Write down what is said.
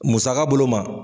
Musaka bolo ma.